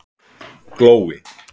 Glói